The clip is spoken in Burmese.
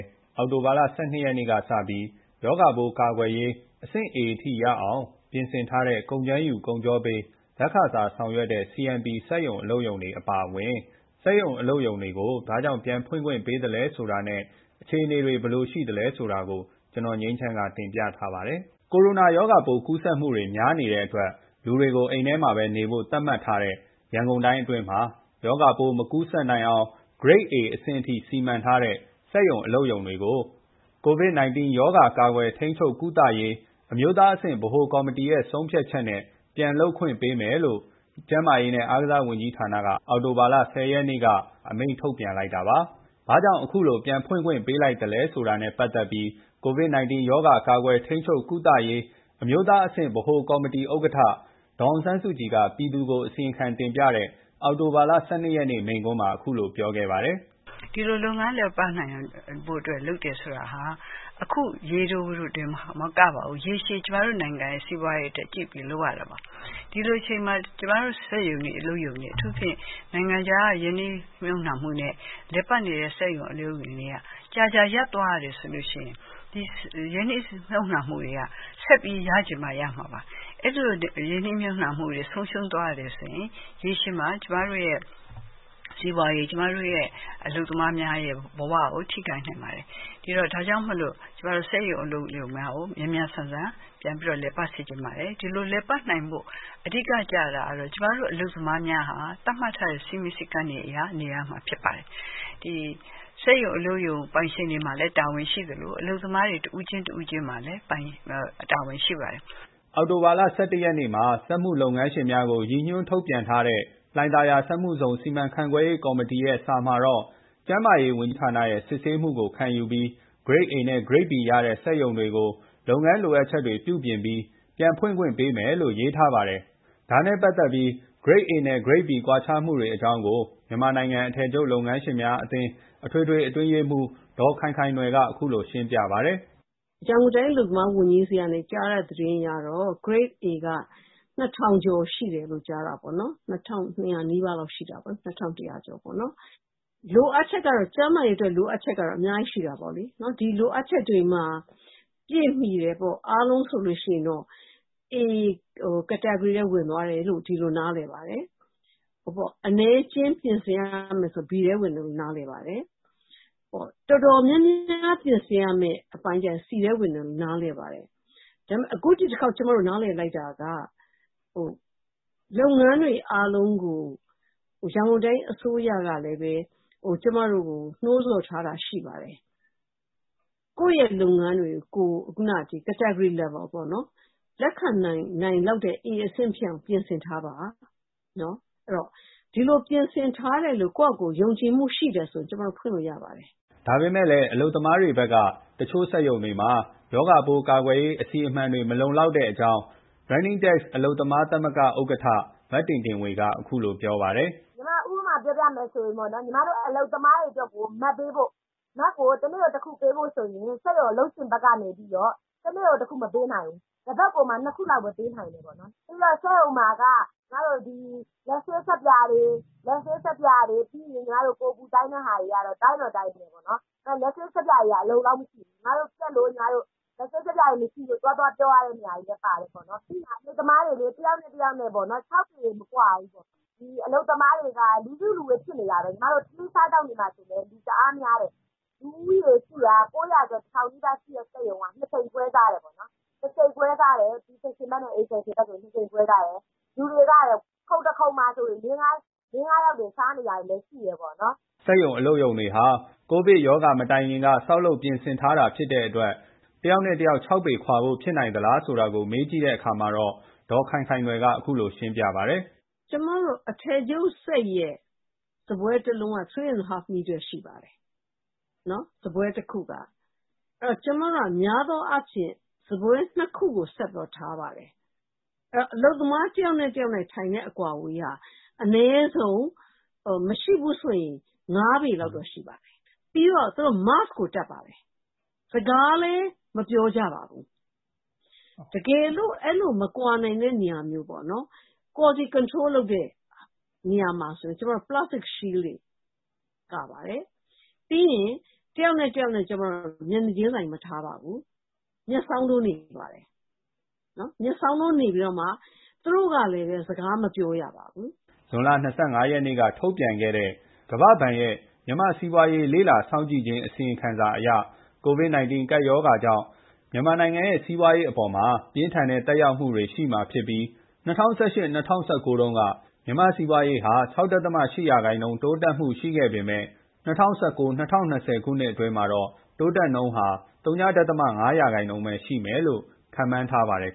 း အောက်တိုဘာလ ၁၂ ရက် တနင်္လာနေ့က စပြီး ရောဂါ ကာကွယ်ရေး လိုအပ်ချက်ပြည့်မှီတဲ့ အဆင့် A အထိ ရအောင် ပြင်ဆင်ထားတဲ့ ကုန်ကြမ်းယူ၊ ကုန်ချောပေး လက်ခစားဆောင်ရွက်တဲ့ CMP အပါအဝင် စက်ရုံ၊ အလုပ်ရုံတွေကို ပြန်ဖွင့်ခွင့် ပေးလိုက်တဲ့ အခြေအနေ အသေးစိတ် ကိုငြိမ်းချမ်းက တင်ပြထားပါတယ်။ ရောဂါပိုးကူးစက်မှုတွေ များနေတဲ့ အတွက် လူတွေကို အိမ်ထဲမှာပဲ နေဖို့ သတ်မှတ်ထားတဲ့ ရန်ကုန်တိုင်းအတွင်းမှာရောဂါပိုး မကူးစက်နိုင်အောင် Grade A အဆင့် အထိ စီမံထားတဲ့ စက်ရုံတွေ၊ အလုပ်ရုံတွေကို COVID-19 ရောဂါ ကာကွယ်၊ထိန်းချုပ်၊ ကုသရေး အမျိုးသားအဆင့်ဗဟိုကော်မတီ ရဲ့ ဆုံးဖြတ်ချက် နဲ့ ပြန်လုပ်ပိုင်ခွင့်ပေးမယ်လို့ ကျန်းမာရေး နဲ့ အားကစား ဝန်ကြီးဌာနက အောက်တိုဘာလ ၁၀ ရက်နေ့ က အမိန့်ထုတ်ပြန်လိုက်တာပါ။ ဘာကြောင့် အခုလို ပြန်ဖွင့်ခွင့်ပေးလိုက်တယ် ဆိုတာ နဲ့ ပတ်သက်ပြီး COVID-19 ရောဂါ ကာကွယ်၊ ထိန်းချုပ်၊ ကုသရေး အမျိုးသားအဆင့်ဗဟိုကော်မတီဥက္ကဋ္ဌ ဒေါ်အောင်ဆန်းစုကြည် က ပြည်သူကို အစီရင်ခံတင်ပြတဲ့ အောက်တိုဘာလ ၁၂ ရက်နေ့ မိန့်ခွန်းမှာ အခုလို ပြောခဲ့ပါတယ်။ ”ဒီလို လုပ်ငန်း လည်ပတ်နိုင်ဖို့အတွက် လုပ်တယ်ဆိုတာက အခုရေတို တင်မကပါဘူး။ ရေရှည်ကျမတို့ နိုင်ငံရဲ့ စီးပွားရေးအတွက် ကြည့်ပြီးတော့ လုပ်ရပါတယ်။ ဒီလိုအချိန်မှာ ကျမတို့ စက်ရုံတွေ၊ အလုပ်ရုံတွေ ကြာကြာရပ်သွားရတယ်ဆိုရင် အဲ့ဒီရင်းနှီးမြှုပ်နှံမှုတွေက ဆက်ပြီးရချင်မှ ရမှာပါ။ အဲ့ဒီလိုနဲ့ ရင်းနှီးမြှုပ်နှံမှုတွေ က ဆုံးရှုံးသွားရတယ်ဆိုရင် ရေရှည်မှာကျမတို့ရဲ့ စီးပွားရေး၊ ကျမတို့ အလုပ်သမားများရဲ့ ဘဝကို ထိခိုက်နိုင်ပါတယ်။ ဒါကြောင့် စက်ရုံ၊ အလုပ်ရုံများကိုမြန်မြန်ဆန်ဆန် ပြန်ပြီးတော့ လည်ပတ်စေချင်ပါတယ်။ ဒီလိုလည်ပတ်နိုင်ဖို့ အဓိက ကျတာကတော ကျမတို့ အလုပ်သမားများဟာ သတ်မှတ်ထားတဲ့ စည်းမျဉ်းစည်းကမ်းတွေအရနေရမှာ ဖြစ်ပါတယ်။စက်ရုံ၊ အလုပ်ရုံ ပိုင်ရှင်တွေ မှလည်း တာဝန်ရှိသလို အလုပ်သမား တဦးချင်း တဦးချင်းစီမှာလည်း တာဝန်ရှိပါတယ်။” အောက်တိုဘာလ ၁၁ ရက်နေ့မှာ စက်မှုလုပ်ငန်းငန်းရှင်များကို ရည်ညွှန်းထုတ်ပြန်ထားတဲ့ လှိုင်သာယာ စက်မှုဇုန်စီမံခန့်ခွဲရေးကော်မတီ စာမှာတော့ ကျန်းမာရေးဝန်ကြီးဌာနရဲ့ စစ်ဆေးမှုကို ခံယူပြီး Grade A နဲ့ Grade B ရတဲ့ စက်ရုံတွေကိုပါလုပ်ငန်းလိုအပ်ချက်များကို ပြုပြင်ပြီး ပြန်ဖွင့်ခွင့်ပေးမယ်လို့ ရေးထားပါတယ်။ ဒါ နဲ့ ပတ်သက်ပြီး Grade A နဲ့ Grade B ကွာခြားမှုတွေ အကြောင်းကို မြန်မာနိုင်ငံအထည်ချုပ်လုပ်ငန်းရှင်များအသင်း အထွေထွေ အတွင်းရေးမှူး ဒေါ်ခိုင်ခိုင်နွယ်က အခုလို ရှင်းပြပါတယ်။ “ရန်ကုန်တိုင်း အလုပ်သမားဝန်ကြီးဆီက ကြားတဲ့သတင်းအရတော့ Grade A က ၂၀၀၀ ကျော် ရှိတယ်လို့ ကြားတာပေါ့နော်။ ၂၂၀၀ နီးပါးတော့ ရှိတာပေါ့နော်။ ကျန်းမာရေးအတွက် လိုအပ်ချက်တော့ အများကြီးရှိတာပေါ့နော်။ ဒီလိုအပ်ချက်တွေ ပြည့်မှီတယ်ဆိုရင်ပေါ့။ အားလုံးဆိုရင်တော့ A category ထဲဝင်သွားတယ်လို့ ဒီလိုနားလည်ပါတယ်။ အနည်းအကျဉ်း ပြင်ဆင်ရမယ်ဆိုရင်တော့B ထဲ ဝင်တယ်လို့ နားလည်ပါတယ်။ တော်တော်များများ ပြင်ဆင်ရမယ့် အပိုင်းဆိုရင် C ထဲဝင်တယ်လို့ နားလည်ပါတယ်။ အခု ဒီတစ်ခေါက် ကျမတို့ နားလည်လိုက်တာက လုပ်ငန်းတွေ အားလုံးကို ရန်ကုန်တိုင်း အစိုးရ ကပဲလည်း ကျမတို့ကို နှိုးဆော်ထားတာ ရှိပါတယ်။ ကိုယ့်ရဲ့ လုပ်ငန်းတွေကို ကိုယ် ခုနက Category level ပေါ့နော် လက်ခံနိုင်လောက်တဲ့ A အဆင့် ဖြစ်အောင် ပြင်ဆင်ထားပါ။ ဒီလို ပြင်ဆင်ထားတယ်လို့ ကိုယ်ဘာသာကိုယ် ယုံကြည်မှုရှိရင် ကျမတို့ ဖွင့်လို့ရပါတယ်။” ဒါပေမဲ့လည်း အလုပ်သမားတွေဘက်ကလည်း တချို့စက်ရုံတွေမှာ ရောဂါပိုး ကာကွယ်ရေး အစီအမံတွေ မလုံလောက်တဲ့အကြောင်း Running Tex အလုပ်သမား သမဂ္ဂ ဥက္ကဋ္ဌ မတင်တင်ဝေက အခုလို ပြောပါတယ်။ “ညီမ ဥပမာ ပြောပြမယ်ဆို ညီမတို့ အလုပ်သမားတွေ အတွက်ကို Mask ပေးဖို့၊ Mask ကို တနေ့ တခုပေးဖို့ ဆိုရင် စက်ရုံ အလုပ်ရှင်ဘက်နေပြီးတော့ တနေ့ကို တခုမပေးနိုင်ဘူး။ တပတ်ကိုမှ ၂ ခုလောက်ပဲပေးနိုင်တယ်။ ပြီးတော့ စက်ရုံမှာက ညီမတို့ ဒီ လက်ဆေး ဆပ်ပြာတွေ၊ ပြီးရင် ကိုယ် အပူတိုင်းတဲ့ဟာတွေ တိုင်းတော့ တိုင်းတယ်ပေါ့နော်။ လက်ဆေး ဆပ်ပြာတွေက အလုံအလောက်မရှိဘူး။ လက်ဆပ် ဆပ်ပြာရည် မရှိလို့ သွားသွား ပြောရတဲ့ နေရာတွေလည်း ပါတယ်ပေါ့နော်။ အလုပ်သမားတွေ တစ်ယောက် နဲ့ တစ်ယောက် ၆ ပေ မကွာဘူး။ ဒီ အလုပ်သမားတွေက လူစုလူဝေး ဖြစ်နေတာပဲ။ ညီမတို့ ထမင်းစားသောက်နေတာ ဆိုလည်း တအားများတယ်။ လူဦးရေ ၈၀၀ ကျော် ၉၀၀ - ၁၀၀၀ နီးပါး ရှိတဲ့ စက်ရုံက ၂ ချိန် ခွဲစားတယ်။ လူတွေက ခုံတခုံမှာ လေး ငါးယောက်တွေ စားနေတာတွေလည်း ရှိတယ်။” စက်ရုံအလုပ်ရုံတွေဟာ ကိုဗစ် မတိုင်ခင်က ဆောက်လုပ် ပြင်ဆင်ထားတဲ့ဖြစ်တဲ့ တယောက် နဲ့ တယောက် ၆ ပေခွာဖို့ ဖြစ်နိုင်သလားဆိုတာ ကို မေးကြည့်တဲ့အခါမှာတော့ ဒေါ်ခိုင်ခိုင်နွယ်က အခုလို ပြောပါတယ်။ “ကျမတို့ အထည်ချုပ်စက်ရဲ့ စားပွဲ ၁ လုံးက ၃.၅ မီတာ ရှိပါတယ်။ စားပွဲတခုက။ အများသောအားဖြင့် ကျမတို့က စားပွဲ ၂ ခုကို ဆက်ထားပါတယ်။ အလုပ်သမား တစ်ယောက် နဲ့ တယောက် ထိုင်တဲ့ အကွာအဝေးဟာ အနည်းဆုံး မရှိဘူးဆိုရင် ၅ ပေလောက်တော့ ရှိပါတယ်။ ပြီးတော့ သူတို့ Mask ကို တပ်ပါတယ်။ စကားလည်း မပြောကြပါဘူး။ တကယ်လို့ အဲ့လို မကွာနိုင်တဲ့ နေရာမျိုးမှာဆိုရင်တော့ Quality Control လုပ်တဲ့နေရာမှာ ဆိုရင် Plastic Shield တွေ ကာပါတယ်။ ပြီးရင် တယောက် နဲ့ တယောက် ကျမတို့ က မျက်နှာချင်းဆိုင် မထားပါဘူး။ မျက်စောင်းထိုး နေခိုင်းပါတယ်။ သူတို့ကလည်းပဲ စကားမပြောရပါဘူး။” ဇွန်လ ၂၅ ရက် က ထုတ်ပြန်ခဲ့တဲ့ ကမ္ဘာ့ဘဏ်ရဲ့ မြန်မာ့စီးပွားရေးလေ့လာစောင့်ကြည့်ခြင်း အစီရင်ခံစာအရ ကိုဗစ် ၁၉ကပ်ရောဂါကြောင့် မြန်မာနိုင်ငံရဲ့ စီးပွားရေးအပေါ်ပြင်းထန်တဲ့ သက်ရောက်မှုတွေ ရှိမှာဖြစ်ပြီး ၂၀၁၈-၂၀၁၉တုန်းက မြန်မာ့စီးပွားရေးဟာ ၆.၈% တိုးတက်မှုနှုန်းရှိခဲ့ပေမဲ့၂၀၁၉ - ၂၀၂၀ ခုနှစ်အတွင်း တိုးတက်နှုန်းဟာ ဝ.၅% ပဲ ရှိမယ်လို့ ခန့်မှန်းထားပါတယ်